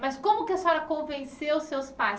Mas como que a senhora convenceu os seus pais?